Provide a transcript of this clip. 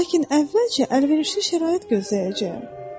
Lakin əvvəlcə əlverişli şərait gözləyəcəyəm.